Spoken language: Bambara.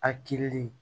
A kirili